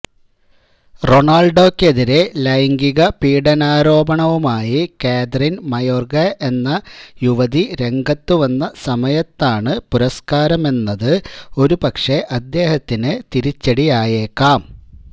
റൊണാള്ഡോക്കെതിരേ ലൈംഗിക പീഡനാരോപണവുമായി Kathryn Mayorga എന്ന യുവതി രംഗത്തുവന്ന സമയത്താണ് പുരസ്കാരമെന്നത് ഒരുപക്ഷേ അദ്ദേഹത്തിന് തിരിച്ചടിയായേക്കാം